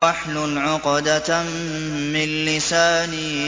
وَاحْلُلْ عُقْدَةً مِّن لِّسَانِي